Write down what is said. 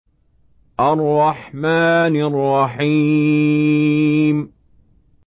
الرَّحْمَٰنِ الرَّحِيمِ